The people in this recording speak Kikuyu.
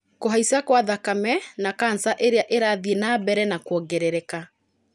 kũhaica kwa thakame na canca ĩrĩa ĩrathie na mbere na kwongerereka